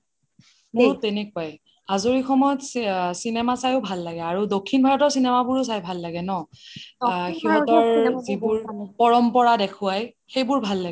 মোৰো তেনেকুৱাই আজৰি সময়ত চিনেমা চাইও ভাল লাগে আৰু দক্ষিণ ভাৰতৰ চিনেমাবোৰও চাই ভাল লাগে ন ? সিহতৰ যিবোৰ পৰাম্পাৰা দেখুৱাই সেইবোৰ ভাল লাগে